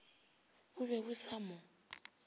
bo be bo sa mo